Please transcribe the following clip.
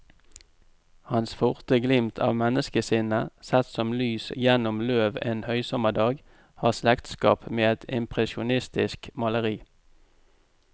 Hans forte glimt av menneskesinnet, sett som lys gjennom løv en høysommerdag, har slektskap med et impresjonistisk maleri.